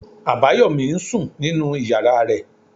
Abayomi ń sùn nínú ìyára rẹ̀.